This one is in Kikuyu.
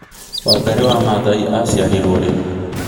Wangari maathai acĩarĩrwo rĩ